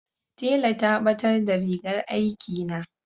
tela ta batar da rigar aiki na